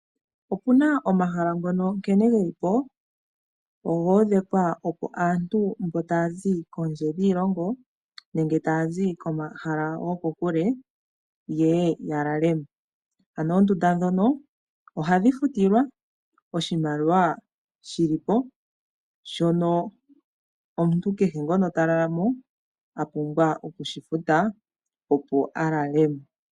Opuna omahal ngono nkene ge li po, ogo odhekwa opo aantu mbo ta ya zi kondje yiilongo, nenge ta ya źi komahala goko kule, ye ye ya lale mo. Ano oondunda dhono, ohadhi futilwa oshimaliwa, shi li po shono omuntu kehe ngono ta lala mo, a pumbwa oku shi futa opo a lale mo.